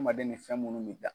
fɛn munnu min